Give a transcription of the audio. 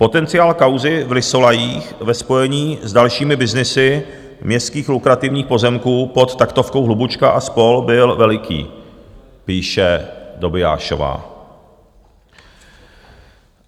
Potenciál kauzy v Lysolajích ve spojení s dalšími byznysy městských lukrativních pozemků pod taktovkou Hlubučka a spol. byl veliký, píše Dobiášová.